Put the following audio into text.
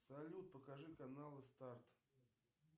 салют покажи каналы старт